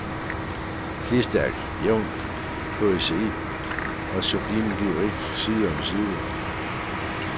Slidstærk, jævn poesi og sublim lyrik side om side.